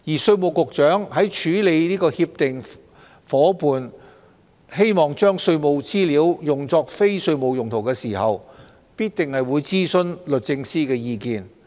稅務局局長在處理協定夥伴將稅務資料用作非稅務用途的請求時，必定會諮詢律政司的意見。